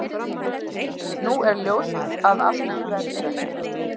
Nú er ljóst að af því verður ekki.